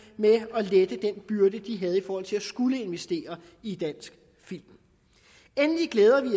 lettet den byrde tv havde i forhold til at skulle investere i dansk film endelig glæder vi